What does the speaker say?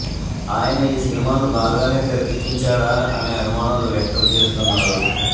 ఆయన ఈ సినిమాను బాగానే తెరకెక్కించాడా అనే అనుమానాలు వ్యక్తం చేస్తున్నారు